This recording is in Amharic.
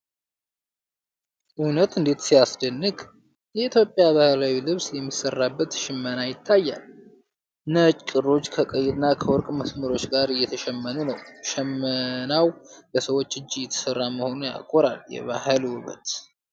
እውነት እንዴት ሲያስደንቅ! የኢትዮጵያ ባህላዊ ልብስ የሚሠራበት ሽመና ይታያል። ነጭ ክሮች ከቀይና ከወርቅ መስመሮች ጋር እየተሸመኑ ነው። ሽመናው በሰዎች እጅ እየተሠራ መሆኑ ያኮራል። የባህል ውበት!